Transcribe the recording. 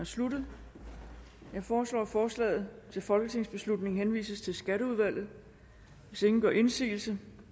sluttet jeg foreslår at forslaget til folketingsbeslutning henvises til skatteudvalget hvis ingen gør indsigelse